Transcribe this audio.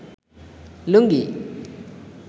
লুঙ্গি